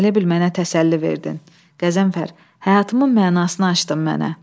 Elə bil mənə təsəlli verdin, Qəzənfər, həyatımın mənasını açdın mənə.